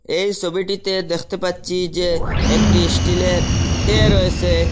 এই সবিটিতে দেখতে পাচ্ছি যে একটি ইস্টিলের টে রয়েসে।